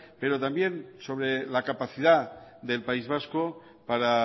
pero también sobre la capacidad del país vasco para